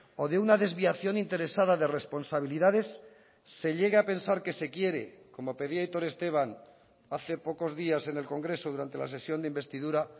o de una desviación interesada de responsabilidades se llegue a pensar que se quiere como pedía aitor esteban hace pocos días en el congreso durante la sesión de investidura